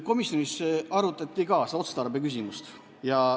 Komisjonis arutati ka otstarbeküsimust.